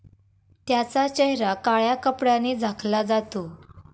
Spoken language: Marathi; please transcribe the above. त्याचा चेहरा काळय़ा कपडय़ाने झाकला जातो.